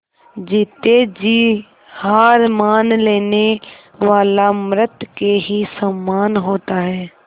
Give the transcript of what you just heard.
जीते जी हार मान लेने वाला मृत के ही समान होता है